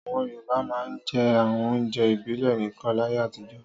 Àwọn Yorùbá máa ń jẹ àwọn oúnjẹ ìbílẹ̀ nìkan láyé àtijọ́.